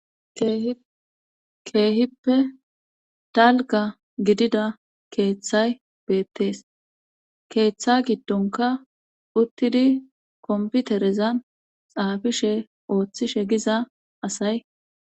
keehippe talga gidida keeththay beettees keeththa giddonka uttidi komputerezan xaafishe ooththishe giza asay